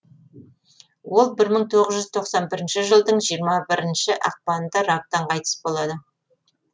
ол бір мың тоғыз жүз тоқсан бірінші жылдың жиырма бірінші ақпанында рактан қайтыс болады